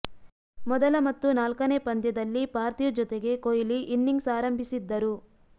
ಮೊದಲ ಮತ್ತು ನಾಲ್ಕನೇ ಪಂದ್ಯದಲ್ಲಿ ಪಾರ್ಥಿವ್ ಜೊತೆಗೆ ಕೊಹ್ಲಿ ಇನಿಂಗ್ಸ್ ಆರಂಭಿಸಿದ್ದರು